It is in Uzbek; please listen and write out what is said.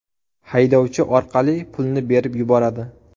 haydovchi orqali pulni berib yuboradi.